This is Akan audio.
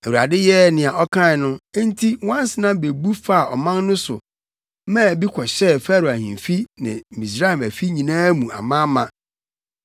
Awurade yɛɛ nea ɔkae no, enti nwansena bebu faa ɔman no so maa bi kɔhyɛɛ Farao ahemfi ne Misraim afi nyinaa mu amaama.